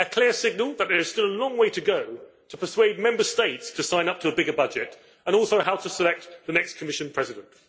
A clear signal that there is still a long way to go to persuade Member States to sign up to a bigger budget and also how to select the next Commission President.